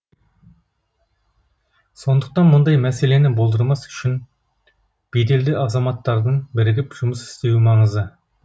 сондықтан мұндай мәселені болдырмас үшін беделді азаматтардың бірігіп жұмыс істеуі маңызды